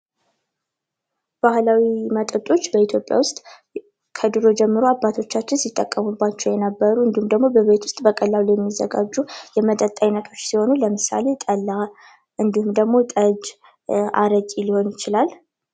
ባህላዊ መጠጦች በኢትዮጵያ ውስጥ ከ ድሮ ጀምሮ አባቶቻቺን ሲጠቀሙባቸው የነበሩ እንዲሁም ደግሞ በቤታችን በቀላሉ ሊዘጋጁ የሚችሉ የመጠጥ አይነቶች ሲሆኑ ለምሳሌ ጠላ እንዲሁም ደግሞ ጠጅ አረቄ ሊሆን ይችላል